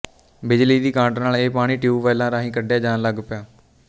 ਬਿਜਲੀ ਦੀ ਕਾਢ ਨਾਲ ਇਹ ਪਾਣੀ ਟਿਊਬਵੈੱਲਾਂ ਰਾਹੀਂ ਕੱਢਿਆ ਜਾਣ ਲੱਗ ਪਿਆ